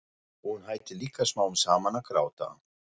Og hún hættir líka smám saman að gráta.